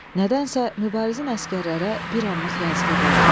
Nədənsə Mübarizin əsgərlərə bir anlıq yazığı gəldi.